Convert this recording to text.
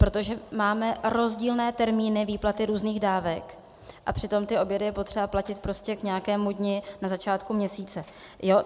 Protože máme rozdílné termíny výplaty různých dávek a přitom ty obědy je potřeba platit prostě k nějakému dni na začátku měsíce.